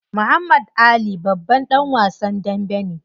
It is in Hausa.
Muhammad Ali babban dan wasan dambe ne.